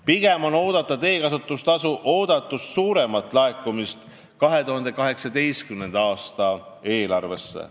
Pigem on loota teekasutustasu oodatust suuremat laekumist 2018. aasta eelarvesse.